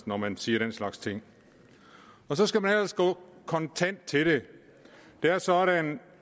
når man siger den slags ting og så skal man ellers gå kontant til det det er sådan